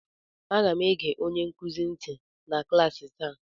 Aga m ege onye nkuzi nti na klaasị taa